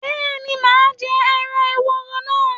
Bẹ́ẹ̀ni màá jẹ ẹran ehoro náà